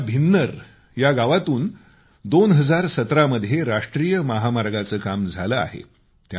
आमच्या भिन्नर या गावातून 2017 मध्ये राष्ट्रीय महामार्गाचं काम झालं आहे